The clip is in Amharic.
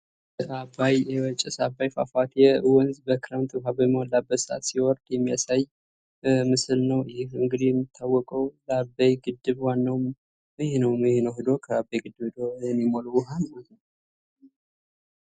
አባይ ጭስ አባይ ፏፏቴ በክረምት ውሃ በሚሞላበት ሰዓት ሲወርድ የሚያሳይ ምስል ነው። ይህ እንግዲህ የሚታወቀው በአባይ ግድብ ዋናው ይህ ነው ይህ ነው ሄዶ ከአባይ ግድብ ሄዶ የሚሞላ ውሃ ማለት ነው።